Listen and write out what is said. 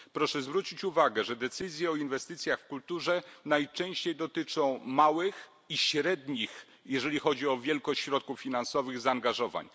Proszę zwrócić uwagę, że decyzje o inwestycjach w kulturę najczęściej dotyczą małych i średnich jeżeli chodzi o wielkość środków finansowych zaangażowań.